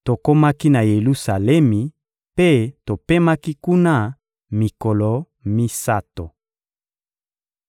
Tokomaki na Yelusalemi mpe topemaki kuna mikolo misato.